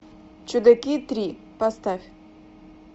чудаки три поставь